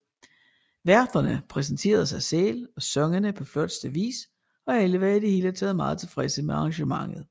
Værterne præsenterede sig selv og sangene på flotteste vis og alle var i det hele taget meget tilfredse med arrangementet